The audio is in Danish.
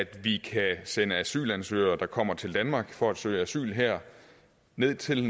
vi kan sende asylansøgere der kommer til danmark for at søge asyl her ned til